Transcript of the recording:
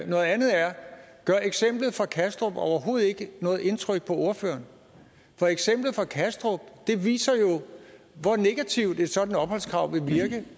noget andet er gør eksemplet fra kastrup overhovedet ikke noget indtryk på ordføreren for eksemplet fra kastrup viser jo hvor negativt et sådant opholdskrav vil virke